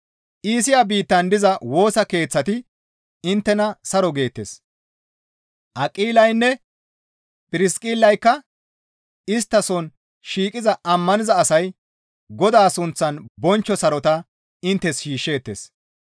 Iisiya biittan diza Woosa Keeththati inttena saro geettes; Aqilaynne Phirsiqillayka istta soon shiiqiza ammaniza asay Godaa sunththan bonchcho sarota inttes shiishsheettes.